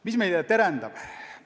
Mis meil ees terendab?